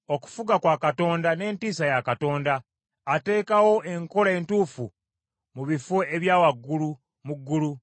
“Okufuga kwa Katonda n’entiisa ya Katonda; ateekawo enkola entuufu mu bifo ebya waggulu mu ggulu.